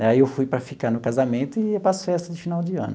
Daí eu fui para ficar no casamento e ia para as festas de final de ano.